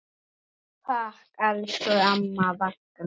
Takk, elsku amma Ragna.